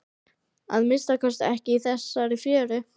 Að minnsta kosti ekki í þessari fjöru.